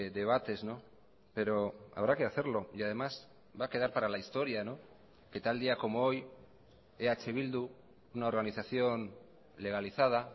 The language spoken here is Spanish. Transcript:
debates pero habrá que hacerlo y además va a quedar para la historia que tal día como hoy eh bildu una organización legalizada